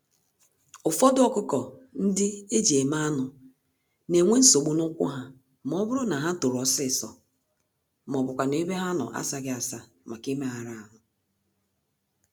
Ụfọdụ ọkụkọ-ndị-eji-eme-anụ n'enwe nsogbu n'ụkwụ ha, mọbụrụ na ha tòrò ọsịsọ, mọbụkwanụ̀ ebe ha nọ asaghị-asa màkà imegàrà ahụ.